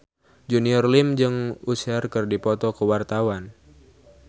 Junior Liem jeung Usher keur dipoto ku wartawan